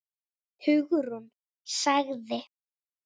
Hugrún sagði